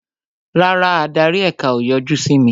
Rárá, adarí èka o yọjú sí mi